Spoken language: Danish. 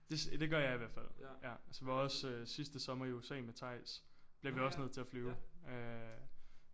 Det det gør jeg i hvert fald ja så var også sidste sommer i USA med Theis blev vi også nødt til at flyve øh